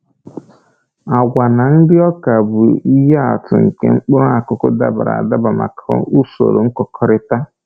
Agwa na nri ọka bụ ihe atụ nke mkpụrụ akụkụ dabara adaba maka usoro nkụkọrịta.